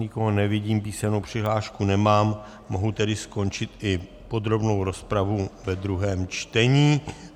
Nikoho nevidím, písemnou přihlášku nemám, mohu tedy skončit i podrobnou rozpravu ve druhém čtení.